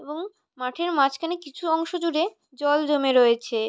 এবং মাঠের মাঝখানে কিছু অংশ জুড়ে জল জমে রয়েছে।